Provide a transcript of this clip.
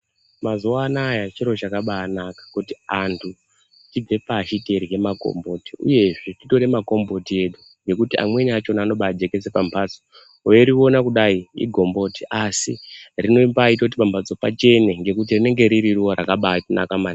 Mazuva anaya chiro chakabanaka kuti antu tibve pashi teirye makomboti, uyezve titore makomboti edu nekuti amweni achona anobajekese pambatso. Veiriona kudai igomboti asi rinombaita kuti pambatso pachene nekuti rinenge riri ruva rakaba naka maningi.